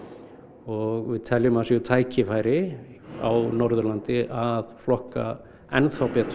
og við teljum að það séu tækifæri á Norðurlandi að flokka enn þá betur